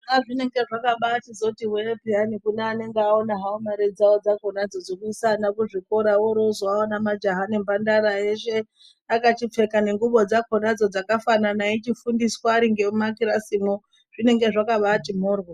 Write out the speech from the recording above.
Azvinenge zvakabai zori wee peyani kune anenge awona hawo mari dzawo dzekusana kuzvikora woryo wozoonawo majaha nemhandara eshe akachipfeka nenguwo dzakona dzoo dzakafanana eyichifundiswa Ari muma kirasi mwoo zvinenge zvakati moryo.